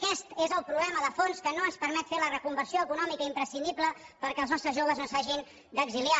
aquest és el problema de fons que no ens permet fer la reconversió econòmica imprescindible perquè els nostres joves no s’hagin d’exiliar